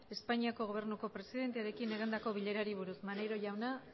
espainiako gobernuko presidentearekin egindako bilerari buruz maneiro jauna